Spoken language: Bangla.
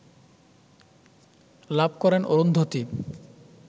লাভ করেন অরুন্ধতী